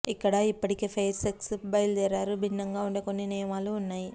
ఇక్కడ ఇప్పటికే fair sex బయలుదేరారు భిన్నంగా ఉండే కొన్ని నియమాలు ఉన్నాయి